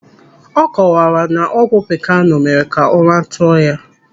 Ọ kọwara na ọgwụ pikanu mere ka ụra tụọ ya.